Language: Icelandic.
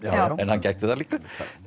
en hann gæti það líka